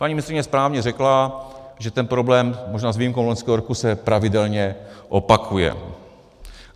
Paní ministryně správně řekla, že ten problém možná s výjimkou loňského roku se pravidelně opakuje.